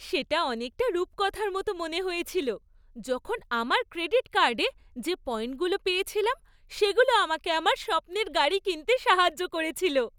সেটা অনেকটা রূপকথার মতো মনে হয়েছিল, যখন আমার ক্রেডিট কার্ডে যে পয়েন্টগুলো পেয়েছিলাম সেগুলো আমাকে আমার স্বপ্নের গাড়ি কিনতে সাহায্য করেছিল।